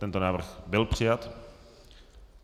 Tento návrh byl přijat.